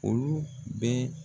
Olu bɛ.